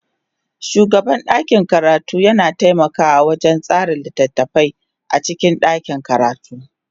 Shugaban ɗakin karatu yana taimakawa wajen tsara littattafai a cikin ɗakin karatu.